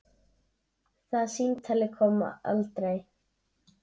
Það símtal kom aldrei.